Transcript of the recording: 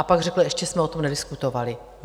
A pak řekl: Ještě jsme o tom nediskutovali.